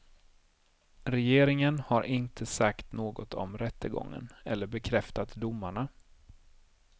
Regeringen har inte sagt något om rättegången eller bekräftat domarna.